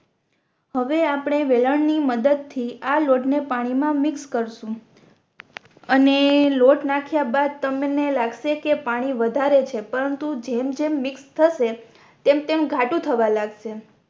હવે આપણે વેલણ ની મદદ થી આ લોટ ને પાણી મા મિક્સ કરશુ અને લોટ નાખ્યા બાદ તમને લાગસે કે પાણી વધારે છે પરંતુ જેમ જેમ મિક્સ થસે તેમ તેમ ઘાટું થવા લાગશે